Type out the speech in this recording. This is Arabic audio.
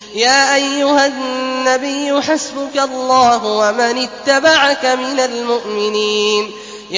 يَا أَيُّهَا النَّبِيُّ حَسْبُكَ اللَّهُ وَمَنِ اتَّبَعَكَ مِنَ الْمُؤْمِنِينَ